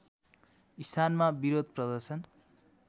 स्थानमा विरोध प्रदर्शन